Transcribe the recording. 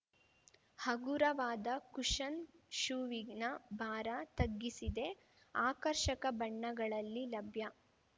ಹಗುರವಾದ ಕುಶನ್‌ ಶೂವಿನ ಭಾರ ತಗ್ಗಿಸಿದೆ ಆಕರ್ಷಕ ಬಣ್ಣಗಳಲ್ಲಿ ಲಭ್ಯ